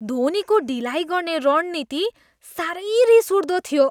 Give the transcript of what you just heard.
धोनीको ढिलाइ गर्ने रणनीति साह्रै रिसउठ्दो थियो।